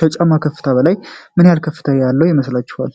ከጫማ ከፍታ በላይ ምን ያክል ከፍታ ያለው ይመስላቸዋል?